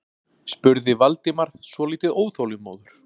spurði Valdimar svolítið óþolinmóður.